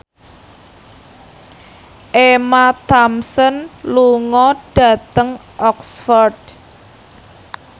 Emma Thompson lunga dhateng Oxford